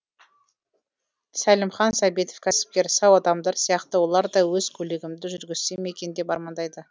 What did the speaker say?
сәлімхан сәбитов кәсіпкер сау адамдар сияқты олар да өз көлігімді жүргізсем екен деп армандайды